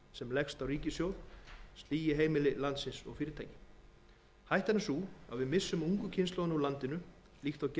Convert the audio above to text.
sem leggst á ríkissjóð sligi heimili landsins og fyrirtæki hættan er sú að við missum ungu kynslóðina úr landi líkt og gerðist í